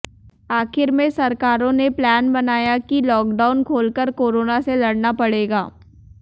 आखिर में सरकारों ने प्लान बनाया कि लॉकडाउन खोलकर कोरोना से लड़ना पड़ेगा